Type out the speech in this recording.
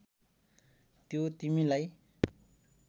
त्यो तिमीलाई